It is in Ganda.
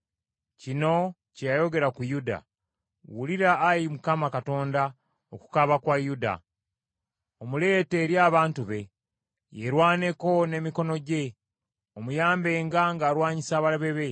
Kino kye yayogera ku Yuda: “Wulira, Ayi Mukama Katonda okukaaba kwa Yuda; omuleete eri abantu be. Yeerwaneko n’emikono gye. Omuyambenga ng’alwanyisa abalabe be!”